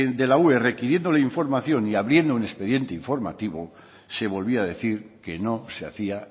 de la ue requiriéndole información y abriendo un expediente informativo se volvía a decir que no se hacía